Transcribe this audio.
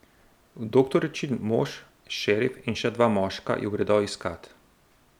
Doktoričin mož, šerif in še dva moška ju gredo iskat.